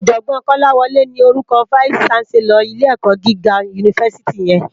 Òjògbòn Kolawole ni órúkò fáìsí ṣánsèlòr ilé èkò gigá unifásití yèn